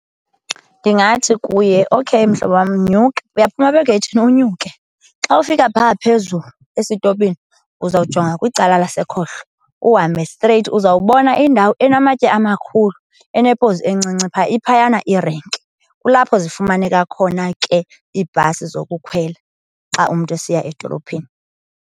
Ndingathi kuye, okheyi mhlobo wam, nyuka. Uyaphuma apha egeythini unyuke. Xa ufika phaa phezulu esitopini uzawujonga kwicala lasekhohlo uhambe streyithi uzawubona indawo enamatye amakhulu, enepozi encinci phaa. Iphayana irenki, kulapho zifumaneka khona ke iibhasi zokukhwela xa umntu esiya edolophini.